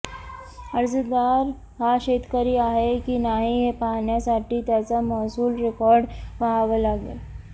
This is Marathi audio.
अर्जदार हा शेतकरी आहे की नाही हे पाहण्यासाठी त्याचा महसूल रेकॉर्ड पाहावा लागेल